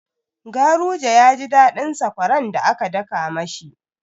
Garuje ya ji daɗin sakwaran da aka daka ma shi.